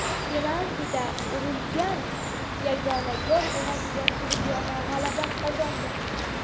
Penaltidan urilgan yagona gol evaziga "So‘g‘diyona" g‘alaba qozondi.